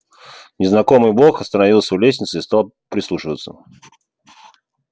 незнакомый бог остановился у лестницы и стал прислушиваться